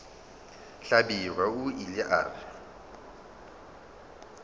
hlabirwa o ile a re